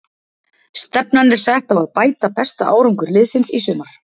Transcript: Stefnan er sett á að bæta besta árangur liðsins í sumar.